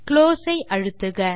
close ஐ அழுத்துக